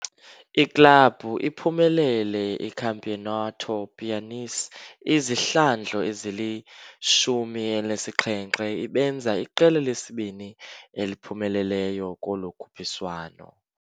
Iklabhu iphumelele iCampeonato Piauiense izihlandlo ezili-17, ibenza iqela lesibini eliphumeleleyo kolo khuphiswano.